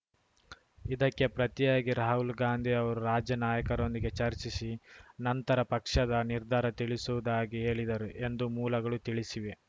ಇದಕ್ಕೆ ಪ್ರತಿಯಾಗಿ ರಾಹುಲ್‌ ಗಾಂಧಿ ಅವರು ರಾಜ್ಯ ನಾಯಕರೊಂದಿಗೆ ಚರ್ಚಿಸಿ ನಂತರ ಪಕ್ಷದ ನಿರ್ಧಾರ ತಿಳಿಸುವುದಾಗಿ ಹೇಳಿದರು ಎಂದು ಮೂಲಗಳು ತಿಳಿಸಿವೆ